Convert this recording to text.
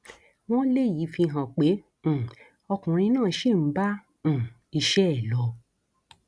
wọn léyìí fi hàn pé um ọkùnrin náà ṣì ń bá um iṣẹ ẹ lọ